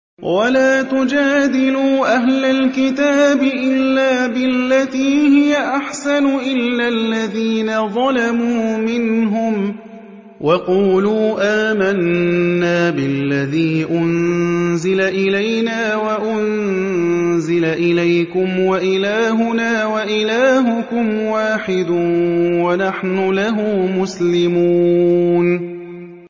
۞ وَلَا تُجَادِلُوا أَهْلَ الْكِتَابِ إِلَّا بِالَّتِي هِيَ أَحْسَنُ إِلَّا الَّذِينَ ظَلَمُوا مِنْهُمْ ۖ وَقُولُوا آمَنَّا بِالَّذِي أُنزِلَ إِلَيْنَا وَأُنزِلَ إِلَيْكُمْ وَإِلَٰهُنَا وَإِلَٰهُكُمْ وَاحِدٌ وَنَحْنُ لَهُ مُسْلِمُونَ